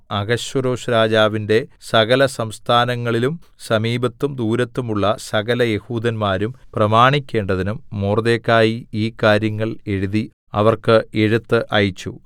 അഹശ്വേരോശ്‌രാജാവിന്റെ സകലസംസ്ഥാനങ്ങളിലും സമീപത്തും ദൂരത്തും ഉള്ള സകലയെഹൂദന്മാരും പ്രമാണിക്കേണ്ടതിനും മൊർദെഖായി ഈ കാര്യങ്ങൾ എഴുതി അവർക്ക് എഴുത്ത് അയച്ചു